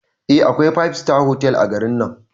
Eh akwai five star otal a garin nan